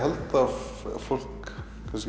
fólk